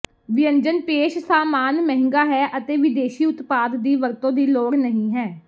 ਵਿਅੰਜਨ ਪੇਸ਼ ਸਾਮਾਨ ਮਹਿੰਗਾ ਹੈ ਅਤੇ ਵਿਦੇਸ਼ੀ ਉਤਪਾਦ ਦੀ ਵਰਤੋ ਦੀ ਲੋੜ ਨਹੀ ਹੈ